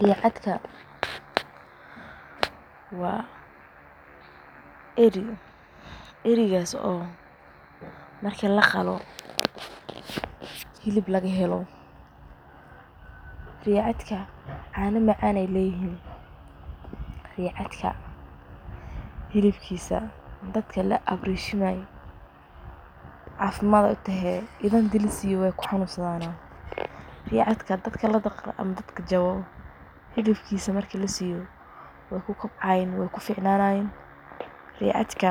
Riicadka waa eri, erigaas oo marki laqalo hilib laga helo, riicadka caano macan ay leyihiin, ricaadka hiibkiisa dad laa abreshimay caafimad ay utehe, ida hadii la siyo way kuxanuunsadan, riicadka dadka ladaqro ama dadka jabo hilibkiisa marki la siyo way kukobcayiin way kuficnanayin, ricaadka